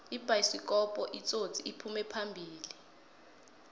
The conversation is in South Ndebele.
ibayisikopu itsotsi iphume phambili